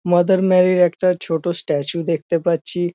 Mother Mary -র একটা ছোট স্ট্যাচু দেখতে পাচ্ছি।